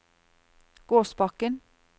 Gåsbakken